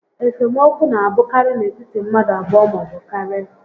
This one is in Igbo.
Esemokwu na a bụkarị n'etiti mmadụ abụọ maọbụ karịa